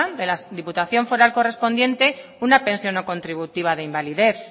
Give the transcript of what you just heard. de la diputación foral correspondiente una pensión no contributiva de invalidez